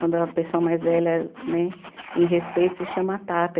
Quando a pessoa mais velha né, em respeito, se chama Tata.